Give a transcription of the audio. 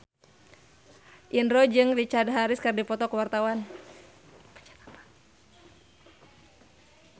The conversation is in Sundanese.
Indro jeung Richard Harris keur dipoto ku wartawan